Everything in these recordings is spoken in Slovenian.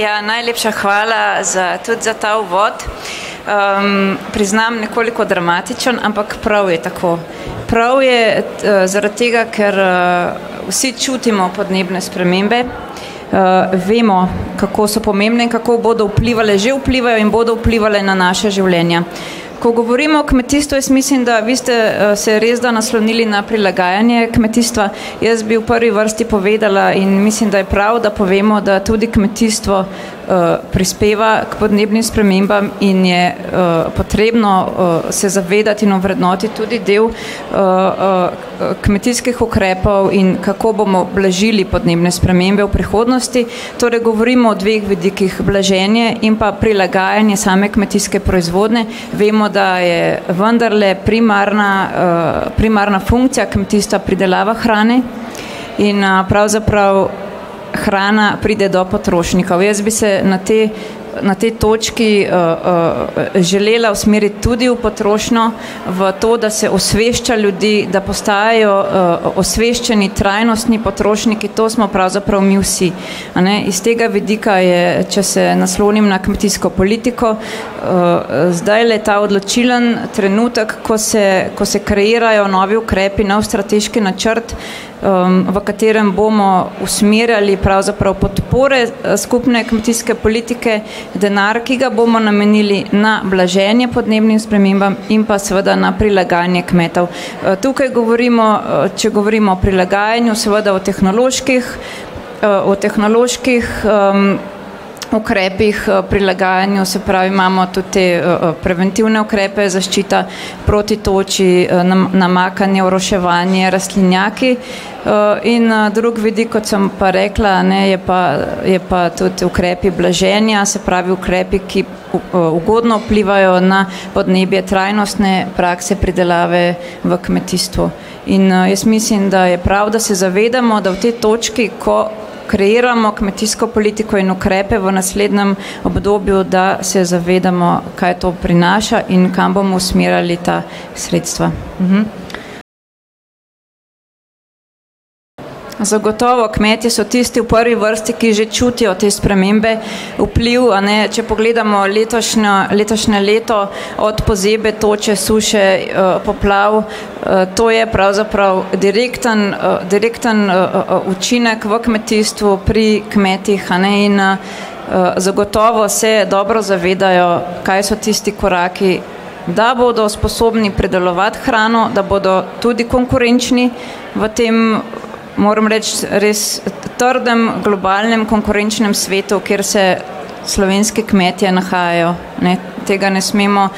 Ja, najlepša hvala za tudi za ta uvod. priznam nekoliko dramatičen, ampak prav je tako. Prav je, zaradi tega, ker, vsi čutimo podnebne spremembe. vemo, kako so pomembne, kako bodo vplivale, že vplivajo in bodo vplivale na naša življenja. Ko govorimo o kmetijstvu, jaz mislim, da vi ste, se res da naslonili na prilagajanje kmetijstva. Jaz bi v prvi vrsti povedala in mislim, da je prav, da povemo, da je tudi kmetijstvo, prispeva k podnebnim spremembam in je, potrebno, se zavedati in ovrednotiti tudi del, kmetijskih ukrepov in kako bomo blažili podnebne spremembe v prihodnosti. Torej govorimo o dveh vidikih, blaženje in pa prilagajanje same kmetijske proizvodnje, vemo, da je vendarle primarna, primarna funkcija kmetijstva pridelava hrane in, pravzaprav hrana pride do potrošnikov. Jaz bi se na te na tej točki, želela usmeriti tudi v potrošnjo v to, da se osvešča ljudi, da postajajo, osveščeni, trajnostni potrošniki, to smo pravzaprav mi vsi, a ne. Iz tega vidika je, če se naslonim na kmetijsko politiko, zdajle ta odločilni trenutek, ko se, ko se kreirajo novi ukrepi, nov strateški načrt, v katerem bomo usmerjali pravzaprav podpore skupne kmetijske politike, denar, ki ga bomo namenili na blaženje podnebnim spremembam in pa seveda na prilagajanje kmetov. tukaj govorimo, če govorimo o prilagajanju seveda o tehnoloških, o tehnoloških, ukrepih, prilagajanja, se pravi imamo tudi te, preventivne ukrepe, zaščita proti toči, namakanje, oroševanje, rastlinjaki, in, drug vidik, kot sem pa rekla, a ne, je pa, je pa tudi ukrepi blaženja, se pravi ukrepi, ki, ugodno vplivajo na podnebje, trajnostne prakse pridelave v kmetijstvu. In, jaz mislim, da je prav, da se zavedamo, da v tej točki, ko kreiramo kmetijsko politiko in ukrepe v naslednjem obdobju, da se zavedamo, kaj to prinaša in kam bomo usmerjali ta sredstva. Zagotovo kmetje so tisti v prvi vrsti, ki že čutijo te spremembe, vpliv, a ne, če pogledamo letošnjo, letošnje leto, od pozebe, toče, suše, poplav, to je pravzaprav direkten, direkten, učinek v kmetijstvu pri kmetih, a ne, in, zagotovo se dobro zavedajo, kaj so tisti koraki, da bodo sposobni pridelovati hrano, da bodo tudi konkurenčni v tem, moram reči, res trdem globalnem konkurenčnem svetu, kjer se slovenski kmetje nahajajo, ne, tega ne smemo,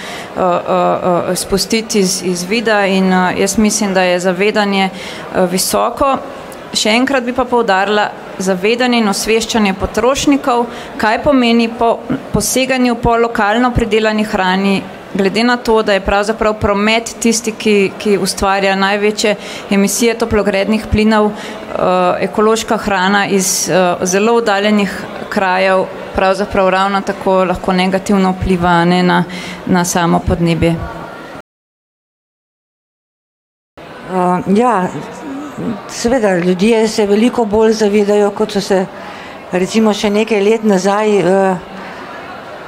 spustiti iz vida in, jaz mislim, da je zavedanje, visoko. Še enkrat bi pa poudarila, zavedanje in osveščanje potrošnikov, kaj pomeni poseganje po lokalno pridelani hrani, glede na to, da je pravzaprav promet tisti, ki, ki ustvarja največje emisije toplogrednih plinov, ekološka hrana iz, zelo oddaljenih krajev pravzaprav ravno tako lahko negativno vpliva, a ne, na, na samo podnebje. ja seveda ljudje se veliko bolj zavedajo, kot so se recimo še nekaj let nazaj,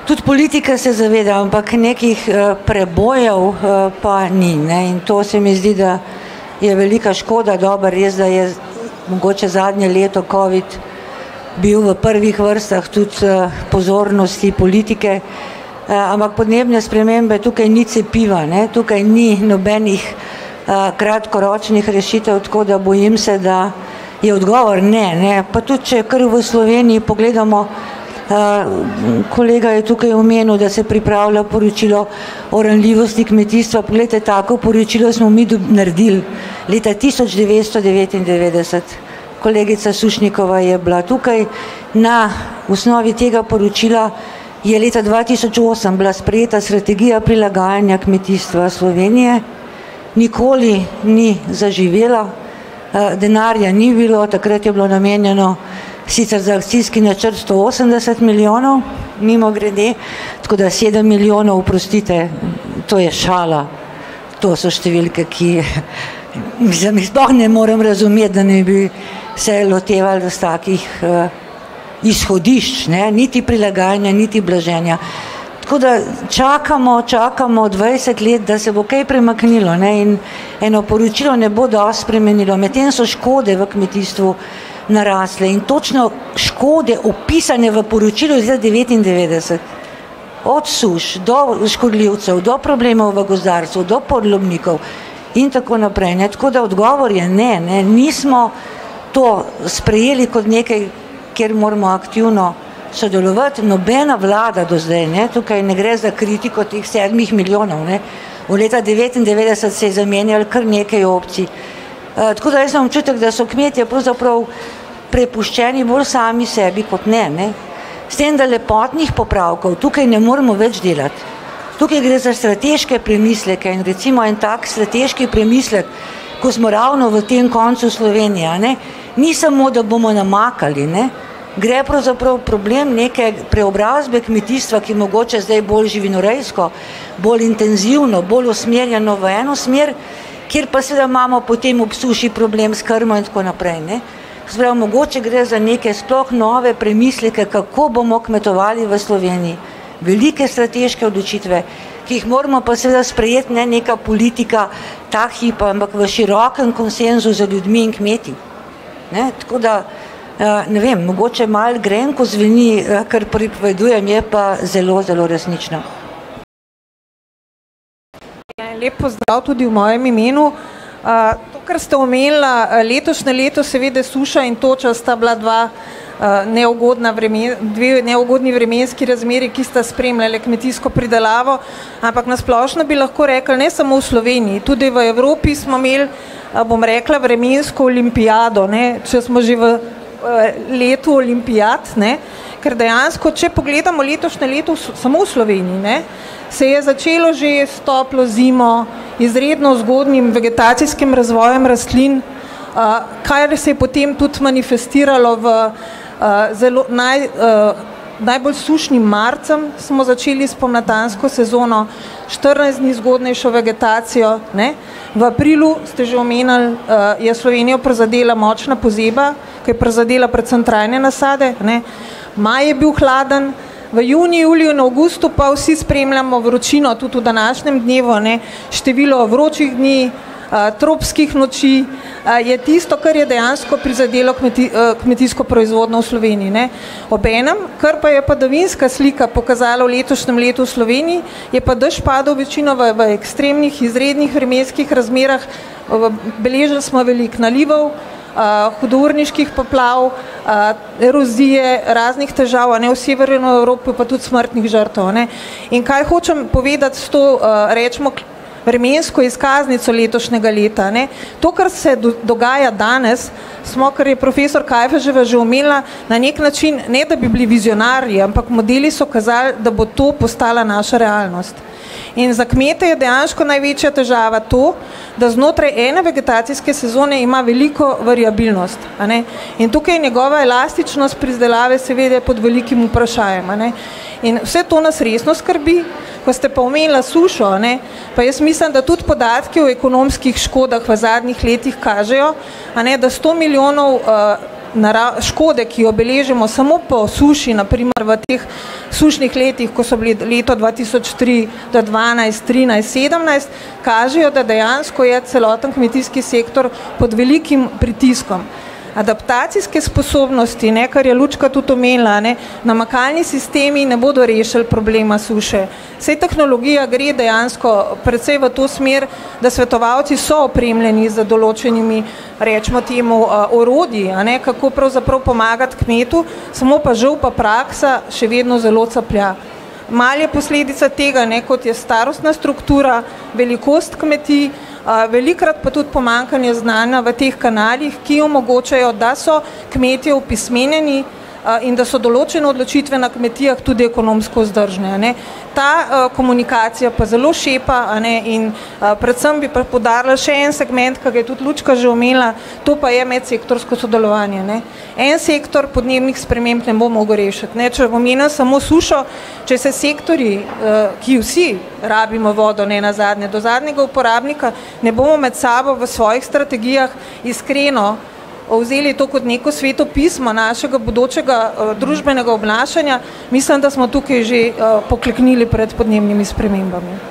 tudi politika se zaveda, ampak nekih, prebojev, pa ni, in to, se mi zdi, je velika škoda. Dobro, res, da je mogoče zadnje leto covid bil v prvih vrstah tudi, pozornosti politike. ampak podnebne spremembe, tukaj ni cepiva, ne, tukaj ni nobenih, kratkoročnih rešitev, tako da bojim se, da je odgovor ne, ne. Pa tudi, če kar v Sloveniji pogledamo, kolega je tukaj omenil, da se pripravlja poročilo o ranljivosti kmetijstva, poglejte, tako poročilo smo mi naredili leta tisoč devetsto devetindevetdeset. Kolegica Sušnikova je bila tukaj, na osnovi tega poročila je leta dva tisoč osem bila sprejeta strategija prilagajanja kmetijstva Slovenije, nikoli ni zaživelo, denarja ni bilo, takrat je bilo namenjeno sicer za akcijski načrt sto osemdeset milijonov, mimogrede. Tako da sedem milijonov, oprostite, to je šala. To se številke, ki mislim, jih sploh ne morem razumeti, da ne bi se lotevali vsakih, izhodišč, ne, niti prilagajanja niti blaženja. Tako da čakamo, čakamo dvajset let, da se bo kaj premaknilo, ne, in eno poročilo ne bo dosti spremenilo, medtem so škode v kmetijstvu narasle in točno škode, opisane v poročilu iz leta devetindevetdeset. Od suš, do škodljivcev, do problemov v gozdarstvu do podlomnikov in tako naprej, ne, tako da odgovor je ne, ne, nismo to sprejeli kot nekaj, kjer moramo aktivno sodelovati. Nobena vlada do zdaj, ne, tukaj ne gre za kritiko teh sedmih milijonov, ne. Od leta devetindevetdeset se je zamenjalo kar nekaj opcij, tako da jaz imam občutek, da so kmetje pravzaprav prepuščeni bolj sami sebi kot ne, ne. S tem, da lepotnih popravkov tukaj ne moremo več delati. Tukaj gre za strateške premisleke in recimo en tak strateški premislek, ko smo ravno v tem koncu Slovenije, a ne. Ni samo, da bomo namakali, ne, gre pravzaprav problem neke preobrazbe kmetijstva, ki mogoče zdaj bolj živinorejsko, bolj intenzivno, bolj usmerjeno v eno smer, kjer pa seveda imamo potem ob suši problem s krmo in tako naprej, ne. Se pravi, mogoče gre za neke sploh nove premisleke, kako bomo kmetovali v Sloveniji. Velike strateške odločitve, ki jih moramo pa seveda sprejeti, ne neka politika ta hip, ampak v širokem konsenzu z ljudmi in kmeti, ne. Tako da, ne vem, mogoče malo grenko zveni, kar pripovedujem, je pa zelo, zelo resnično. Ja, lep pozdrav tudi v mojem imenu, to, kar ste omenila, letošnje leto seveda suša in toča sta bila dva, neugodna dve neugodni vremenski razmeri, ki sta spremljali kmetijsko pridelavo, ampak na splošno bi lahko rekli, ne samo v Sloveniji, tudi v Evropi smo imeli, bom rekla, vremensko olimpijado, ne, če smo že v, letu olimpijad, ne, ker dejansko, če pogledamo letošnje leto samo v Sloveniji, ne, se je začelo že s toplo zimo, izredno zgodnjim vegetacijskim razvojem rastlin, kar se je potem tudi manifestiralo v, zelo naj, najbolj sušnim marcem smo začeli spomladansko sezono, štirinajst dni zgodnejšo vegetacijo, ne. V aprilu ste že omenili je Slovenijo prizadela močna pozeba, ker je prizadela predvsem trajne nasade, a ne. Maj je bil hladen. V juniju, juliju in avgustu pa vsi spremljamo vročino tudi v današnjem dnevu, a ne. Število vročih dni, tropskih noči, je tisto, kar je dejansko prizadelo kmetijsko proizvodnjo v Sloveniji, ne. Obenem, kar pa je padavinska slika pokazala v letošnjem letu v Sloveniji, je pa dež padal večinoma v ekstremnih, izrednih vremenskih razmerah, v beležili smo veliko nalivov, hudourniških poplav, erozije, raznih težav, a ne, v Severni Evropi pa tudi smrtnih žrtev. In kaj hočem povedati s to, recimo vremensko izkaznico letošnjega leta, ne to, kar se dogaja danes, smo, kar je profesor Kajfeževa že omenila, na neki način, ne da bi bili vizionarji, ampak modeli so kazali, da bo to postala naša realnost. In za kmete je dejansko največja težava to, da znotraj ene vegetacijske sezone ima veliko variabilnost, a ne. In tukaj je njegova elastičnost pridelave seveda pod velikim vprašajem, a ne. In vse to nas resno skrbi, ko ste pa omenila sušo, a ne, pa jaz mislim, da tudi podatki o ekonomskih škodah v zadnjih letih kažejo, a ne, da sto milijonov, škode, ki jo beležimo samo po suši, na primer v teh sušnih letih, ko so bili leto dva tisoč tri do dvanajst, trinajst, sedemnajst, kažejo, da dejansko je celoten kmetijski sektor pod velikim pritiskom. Adaptacijske sposobnosti, ne, ker je Lučka tudi omenila, a ne. Namakalni sistemi ne bodo rešili problema suše. Saj tehnologija gre dejansko precej v to smer, da svetovalci so opremljeni z določenimi recimo temu, orodji, a ne, kako pravzaprav pomagati kmetu, samo je pa žal pa praksa še vedno zelo caplja. Malo je posledica tega, ne, kot je starostna struktura, velikost kmetij, velikokrat pa tudi pomanjkanje znanja v teh kanalih, ki omogočajo, da so kmetje opismenjeni, in da so določene odločitve na kmetijah tudi ekonomsko vzdržne, a ne. Ta, komunikacija pa zelo šepa, a ne, in, predvsem bi pa poudarila še en segment, ki ga je tudi Lučka že omenila, to pa je medsektorsko sodelovanje, ne. En sektor podnebnih sprememb ne bo mogel rešiti, ne, če omenim samo sušo, če se sektorji, ki vsi rabimo vodo nenazadnje do zadnjega uporabnika, ne bomo med sabo v svojih strategijah iskreno, vzeli to kot neko sveto pismo našega bodočega, družbenega obnašanja, mislim, da smo tukaj že, pokleknili pred podnebnimi spremembami.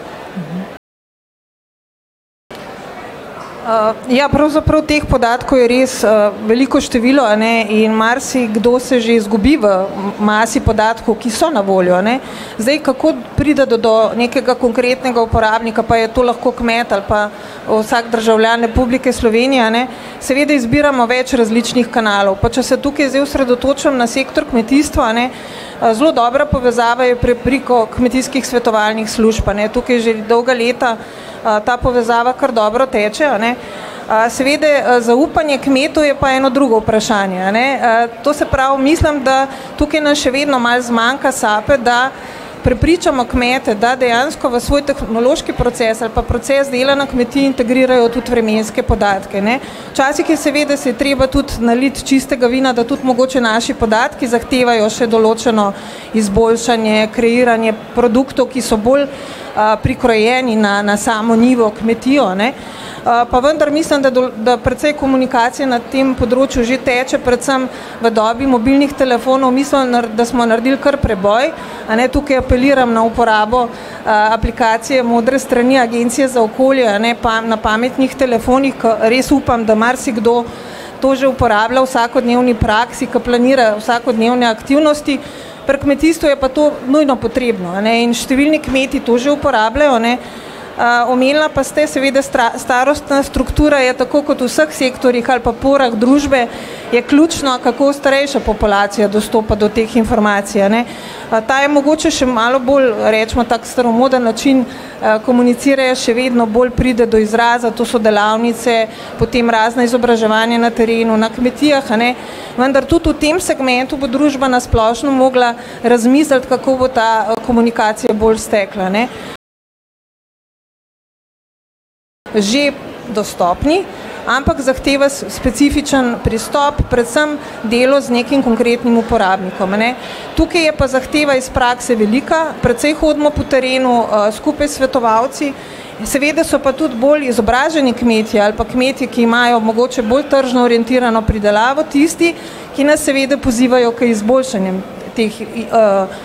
ja pravzaprav teh podatkov je res, veliko število, a ne, in marsikdo se že izgubi v masi podatkov, ki so na voljo, a ne. Zdaj, kako priti do nekega konkretnega uporabnika, pa je to lahko kmet ali pa, vsak državljan Republike Slovenije, a ne, seveda izbiramo več različnih kanalov, pa če se tukaj zdaj osredotočim na sektor kmetijstva, a ne. zelo dobra povezava je preko kmetijskih svetovalnih služb, a ne. Tukaj že dolga leta, ta povezava kar dobro teče, a ne. seveda zaupanje kmetov je pa eno drugo vprašanje, a ne, to se pravi, mislim, da tukaj nas še vedno malo zmanjka sape, da prepričamo kmete, da dejansko v svoj tehnološki proces ali pa v proces dela na kmetiji integrirajo tudi vremenske podatke, ne. Včasih je seveda si je treba tudi naliti čistega vina, da tudi mogoče naši podatki zahtevajo še določeno izboljšanje, kreiranje produktov, ki so bolj, prikrojeni na, na samo njivo, kmetijo, ne. pa vendar mislim, da da precej komunikacije na tem področju že teče, predvsem v dobi mobilnih telefonov mislim, da smo naredili kar preboj, a ne. Tukaj apeliram na uporabo, aplikacije modre strani Agencije za okolje, a ne, pa na pametnih telefonih, ke res upam, da marsikdo to že uporablja v vsakodnevni praksi, ke planirajo vsakodnevne aktivnosti. Pri kmetijstvu je pa to nujno potrebno, a ne. In številni kmetje to že uporabljajo, a ne. omenila pa ste, seveda, starostna struktura je pa tako, kot v vseh sektorjih ali pa porah družbe je ključno, kako starejša populacija dostopa do teh informacij, a ne. Pa ta je mogoče še malo bolj recimo tako staromoden način, komuniciranja še vedno bolj pride od izraza, to so delavnice potem razna izobraževanja na terenu, na kmetijah, a ne. Vendar tudi v tem segmentu bo družba na splošno mogla razmisliti, kako bo ta, komunikacija bolj stekla, ne. Že dostopni, ampak zahteva specifičen pristop, predvsem delo z nekim konkretnim uporabnikom, a ne. Tukaj je pa zahteva iz prakse velika, precej hodimo po terenu, skupaj s svetovalci. Seveda so pa tudi bolj izobraženi kmetje ali pa kmetje, ki imajo mogoče bolj tržno orientirano pridelavo, tisti, ki nas seveda pozivajo k izboljšanjem teh,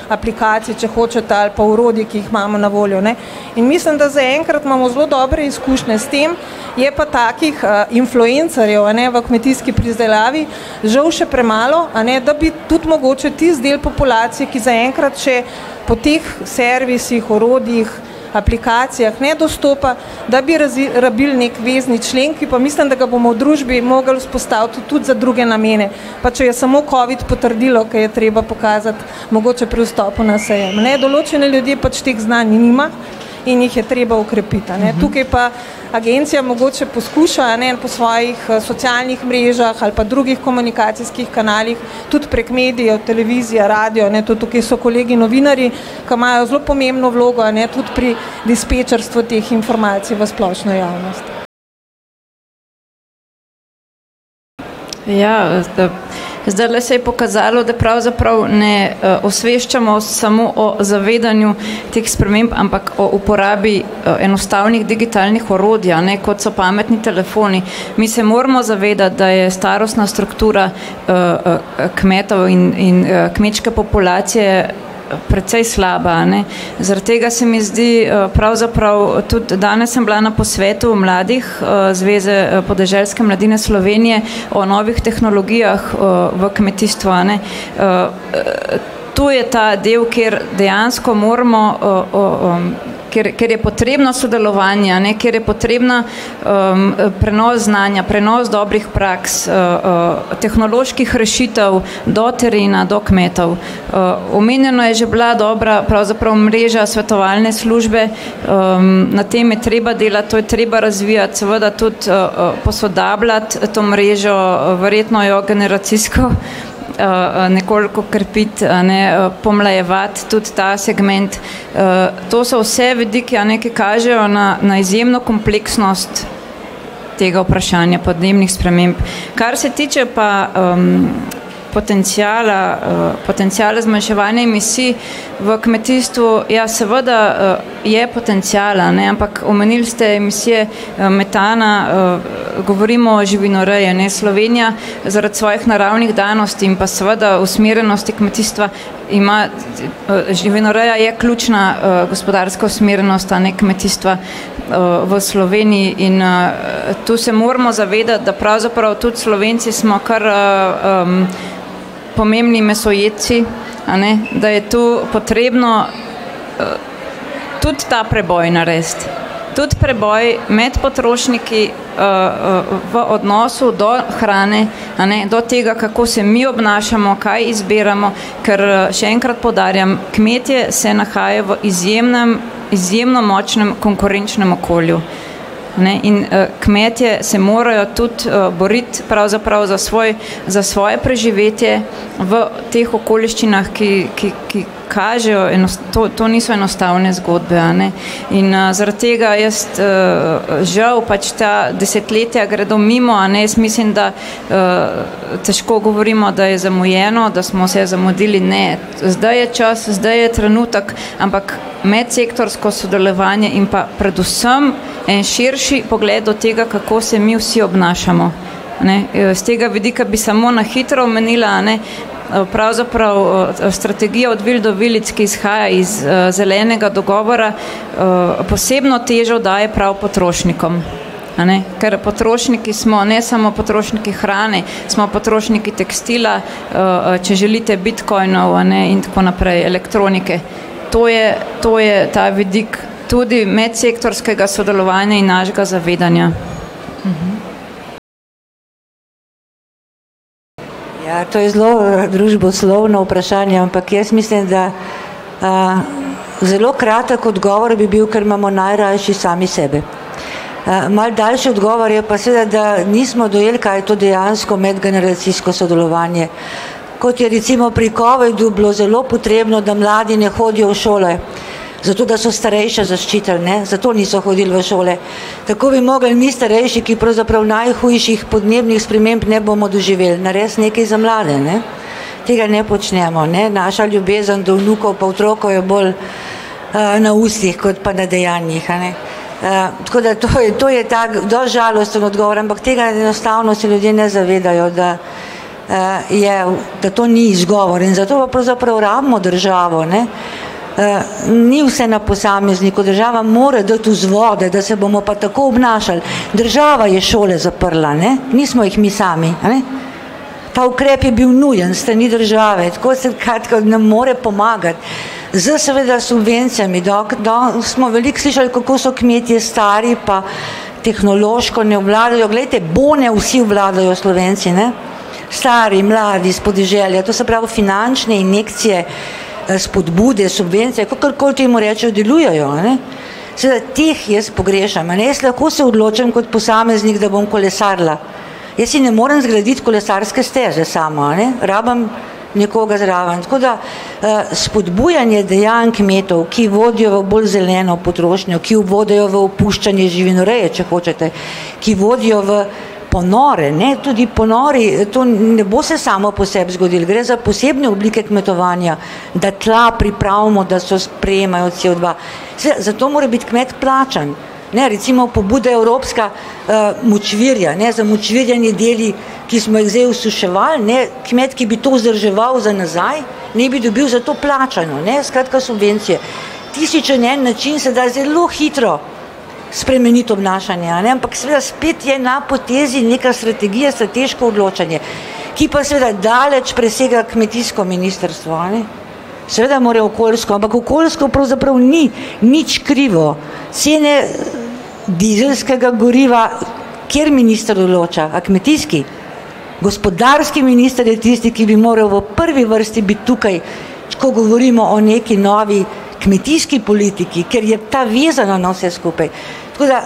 aplikacij, če hočete, ali pa orodij, ki jih imamo na voljo, ne. In mislim, da zaenkrat imamo zelo dobre izkušnje s tem. Je pa takih, influencerjev, a ne, v kmetijski pridelavi žal še premalo, a ne, da bi tudi mogoče tisti del populacije, ki zaenkrat še po teh servisih, orodjih, aplikacijah ne dostopa. Da bi rabili neki vezni člen, ki pa mislim, da bomo v družbi mogli vzpostaviti tudi za druge namene. Pa če je samo covid potrdilo, ke je treba pokazati, mogoče pri vstopu na sejem, a ne. Določeni ljudje pač teh znanj nima in jih je treba okrepiti, a ne. Tukaj pa agencija mogoče poskuša, a ne, po svojih, socialnih mrežah ali pa drugih komunikacijskih kanalih tudi prek medijev, televizije, radio, a ne, tudi tukaj so kolegi novinarji, ke imajo zelo pomembno vlogo, a ne, tudi pri dispečerstvu teh informacij v splošno javnost. Ja, zdajle se je pokazalo, da pravzaprav ne, osveščamo samo o zavedanju teh sprememb, ampak o uporabi, enostavnih digitalnih orodij, a ne, kot so pametni telefoni. Mi se moramo zavedati, da je starostna struktura, kmetov in, in, kmečke populacije, precej slaba, a ne. Zaradi tega se mi zdi, pravzaprav, tudi danes sem bila na posvetu mladih, Zveze, podeželske mladine Slovenije o novih tehnologijah, v kmetijstvu, ne. to je ta del, kjer dejansko moramo, ker, ker je potrebno sodelovanje, a ne, ker je potreben, prenos znanja, prenos dobrih praks, tehnoloških rešitev do terena, do kmetov, omenjena je že bila dobra pravzaprav mreža svetovalne službe. na tem je treba delati, to je treba razvijati, seveda tudi, posodabljati to mrežo, verjetno jo generacijsko, nekoliko krepiti, a ne, pomlajevati tudi ta segment, to so vse vidiki, a ne, ki kažejo na, na izjemno kompleksnost tega vprašanja podnebnih sprememb. Kar se tiče pa, potenciala, potenciala zmanjševanja emisij v kmetijstvu, ja, seveda, je potencial, a ne, ampak omenili ste emisije, metana, govorimo o živinoreji, a ne, Slovenija zaradi svojih naravnih danosti in pa seveda usmerjenosti kmetijstva ima, živinoreja je ključna, gospodarska usmerjenost, a ne kmetijstva, v Sloveniji in, to se moramo zavedati, da pravzaprav tudi Slovenci smo kar, pomembni mesojedci, a ne. Da je to potrebno, tudi ta preboj narediti. Tudi preboj med potrošniki, v odnosu do hrane, a ne. Do tega, kako se mi obnašamo, kaj izbiramo, ker, še enkrat poudarjam, kmetje se nahajajo v izjemnem, izjemno močnem konkurenčnem okolju, ne. In, kmetje se morajo tudi, boriti pravzaprav za svoj za svoje preživetje v teh okoliščinah, ki, ki, ki kažejo to niso enostavne zgodbe, a ne. In, zaradi tega jaz, žal pač ta desetletja gredo mimo, a ne, jaz mislim, da, težko govorimo, da je zamujeno, da smo vse zamudili, ne. zdaj je čas, zdaj je trenutek, ampak medsektorsko sodelovanje in pa predvsem en širši pogled do tega, kako se mi vsi obnašamo, ne. s tega vidika bi samo na hitro omenila, a ne. pravzaprav, strategije od vil do vilic, ki izhaja iz zelenega dogovora, posebno težo daje prav potrošnikom, a ne. Ker potrošniki smo, ne samo potrošniki hrane, smo potrošniki tekstila, če želite bitcoinov, a ne, in tako naprej. Elektronike to je, to je ta vidik, tudi medsektorskega sodelovanja in našega zavedanja. Ja, to je zelo, družboslovno vprašanje, ampak jaz mislim, da, zelo kratek odgovor bi bil: "Ker imamo najrajši sami sebe." malo daljši odgovor je pa seveda, da nismo dojeli, kaj je to dejansko medgeneracijsko sodelovanje, kot je recimo pri covidu bilo zelo potrebno, da mladi ne hodijo v šole. Zato da so starejše zaščitili, ne. Zato niso hodili v šole. Tako bi mogli mi starejši, ki pravzaprav najhujših podnebnih sprememb ne bomo doživeli, narediti nekaj za mlade, ne. Tega ne počnemo, ne. Naša ljubezen do vnukov pa otrok je bolj, na ustih kot pa na dejanjih, a ne. tako da to je tako dosti žalosten odgovor, ampak tega enostavno se ljudje ne zavedajo, da, je, da to ni izgovor, in zato pravzaprav rabimo državo, ne. ni vse na posamezniku, država mora dati vzvode, da se bomo pa tako obnašali. Država je šole zaprla, ne, nismo jih mi sami, a ne. Ta ukrep je bil nujen s strani države. Tako sem nam mora pomagati. S seveda subvencijami, dokler, danes smo veliko slišali, kako so kmetje stari pa tehnološko ne obvladajo, glejte, bone vsi obvladajo Slovenci, ne. Stari, mladi, s podeželja, to se pravi finančne injekcije, spodbude, subvencije, kakor koli temu rečejo, delujejo, a ne. Seveda teh jaz pogrešam, a ne, jaz lahko se odločim kot posameznik, da bom kolesarila. Jaz si ne morem zgraditi kolesarske steze sama, a ne, rabim nekoga zraven, tako da, spodbujanje dejanj kmetov, ki vodijo bolj zeleno potrošnjo, ki vodijo v opuščanje živinoreje, če hočete, ki vodijo v ponore, ne, tudi ponori, to ne bo se samo po sebi zgodilo, gre za posebne oblike kmetovanja, da tla pripravimo, da so sprejemajo COdva. zato mora biti kmet plačan, ne, recimo pobuda evropska, močvirje, a ne, zamočvirjeni deli, ki smo jih zdaj osuševali, ne, kmet, ki bi to vzdrževal za nazaj, ne bi dobil za to plačano, ne, skratka subvencijo. Tisoč in en način se da zelo hitro spremeniti obnašanje, a ne, ampak seveda spet je na potezi neka strategija, strateško odločanje, ki pa seveda daleč presega kmetijsko ministrstvo, a ne. Seveda morajo okoljsko, ampak okoljsko pravzaprav ni nič krivo. Cene dizelskega goriva, kateri minister odloča? A kmetijski? Gospodarski minister je tisti, ki bi moral v prvi vrsti biti tukaj, ko govorimo o neki novi kmetijski politiki, ker je ta vezana na vse skupaj. Tako da